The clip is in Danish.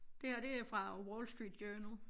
Det her det er fra Wall Street Journal